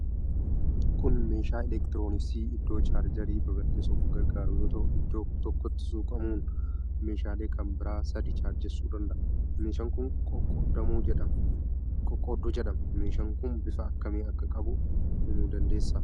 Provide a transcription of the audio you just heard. Kun meeshaa elektirooniksii iddoo chaarjarii babal'isuuf gargaaru yoo ta'u, iddoo tokkoti suuqamuun meeshaalee kan biraa sadi chaarjessuu danda'a. Meeshaan kun qoqqoodduu jedhama. meeshaa kun bifa akkamii akka qabu himuu dandeessaa?